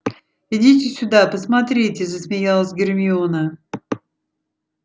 идите сюда посмотрите засмеялась гермиона